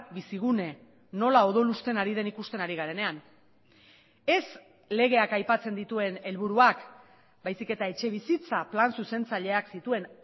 bizigune nola odolusten ari den ikusten ari garenean ez legeak aipatzen dituen helburuak baizik eta etxebizitza plan zuzentzaileak zituen